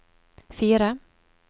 fire